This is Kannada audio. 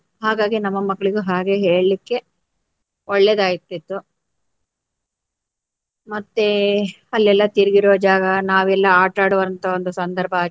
ಹಾಗಾಗಿ ನಮ್ಮ ಮಕ್ಕಳಿಗು ಹಾಗೆ ಹೇಳ್ಲಿಕ್ಕೆ ಒಳ್ಳೆದಾಗ್ತಿತ್ತು. ಮತ್ತೆ ಅಲ್ಲೆಲ್ಲ ತಿರ್ಗಿರುವ ಜಾಗ ನಾವೆಲ್ಲಾ ಆಟ ಆಡುವಂತ ಒಂದು ಸಂದರ್ಭ.